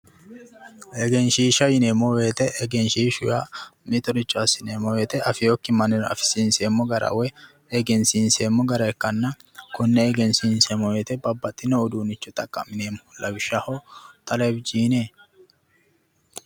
Egenshishsha yinneemmo woyte ,egenshishshu yaa mittoricho assineemmo woyte anfokki mannira afinseemmo gara woyi egensiinseemmo gara ikkanna kone egensiinseemmo woyte babbaxino uduunicho xaqa'mine lawishshaho tolovishine .